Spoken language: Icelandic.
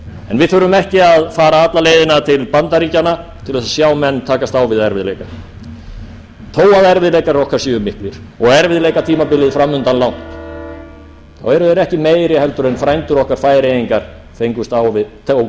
en við þurfum ekki að fara alla leiðina til bandaríkjanna til að sjá menn takast á við erfiðleika þó erfiðleikar okkar séu miklir og erfiðleikatímabilið framundan langt þá eru þeir ekki meiri heldur en frændur okkar færeyingar tókust á við